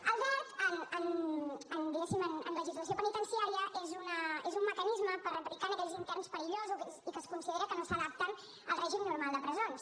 el dert en legislació penitenciària és un mecanisme per aplicar a aquells interns perillosos i que es considera que no s’adapten al règim normal de presons